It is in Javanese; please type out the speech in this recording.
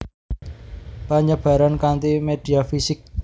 Penyebaran kanti media fisik